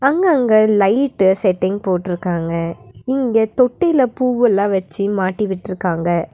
அங்க அங்க light setting போட்டுருக்காங்க இங்க தொட்டில பூவெல்லா வச்சு மாட்டிவிட்டுருக்காங்க.